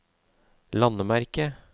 landemerke